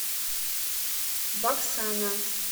баксана